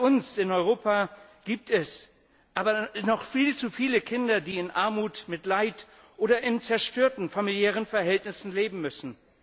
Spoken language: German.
Bei uns in Europa gibt es noch viel zu viele Kinder, die in Armut, mit Leid oder in zerstörten familiären Verhältnissen leben müssen.